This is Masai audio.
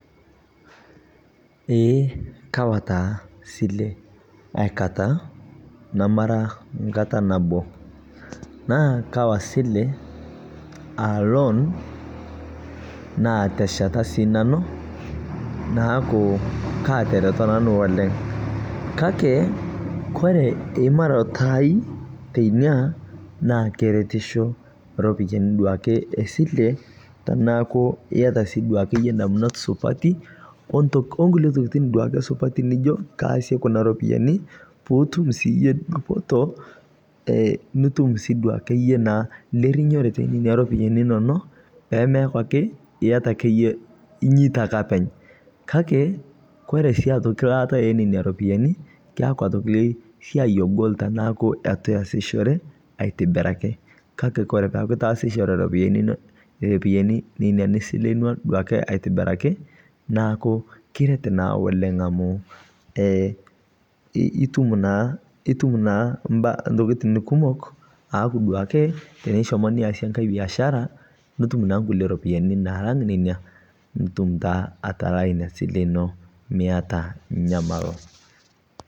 Eeh Kawa taa silee aikata namara nkata naboo naa Kawa silee a loan naatesheta sii nanuu naaku, katereto nanuu oleng' kakee kore imarotoo aai teinia naa keretishoo ropiyani duake e silee tanaaku iata abaki duake yie ndamunot supatii onkulie tokitin supatii duakee Nijo kaasie Kuna ropiyani piitum sii yie dupotoo nutum sii duake yie naa rinyorotee enenenia ropiyani inonoo pemeaku akee inyeitaa ake apeny kakee kore siakee laata enenia ropiyani keaku otoki siai ogol tanaaku etuu iasishore aitibirakii kakee Kore peaku itaasishore ropiyani inonoo nenia nisilenua aitibirakii naaku kiret naa oleng' amuu naa amu itum naa mbaa ntokitin kumok aaku teneshomo duake niasie ng'hai biashara nitum naa nkulie ropiyani nalang' nenia nitum taa atalaa inia silee inoo Miata nyamaloo.